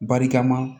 Barikama